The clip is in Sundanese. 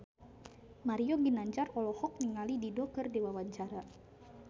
Mario Ginanjar olohok ningali Dido keur diwawancara